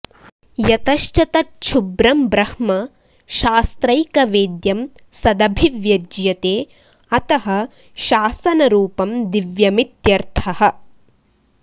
यतश्च तच्छुभ्रं ब्रह्म शास्त्रैकवेद्यं सदभिव्यज्यते अतः शासनरूपं दिव्यमित्यर्थः